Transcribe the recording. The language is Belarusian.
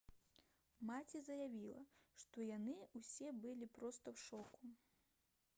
маці заявіла «што яны ўсе былі проста ў шоку»